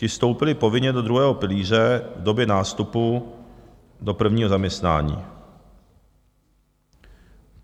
Ti vstoupili povinně do druhého pilíře v době nástupu do prvního zaměstnání.